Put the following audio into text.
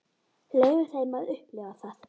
Leyfum þeim að upplifa það.